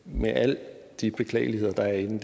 med alle de beklagelige ting der er i den